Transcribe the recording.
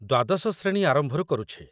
୧୨ଶ ଶ୍ରେଣୀ ଆରମ୍ଭରୁ କରୁଛି |